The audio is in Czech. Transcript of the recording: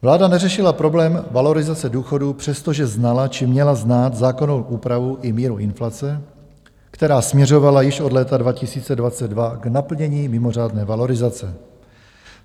Vláda neřešila problém valorizace důchodů, přestože znala, či měla znát, zákonnou úpravu i míru inflace, která směřovala již od léta 2022 k naplnění mimořádné valorizace.